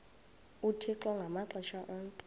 uthixo ngamaxesha onke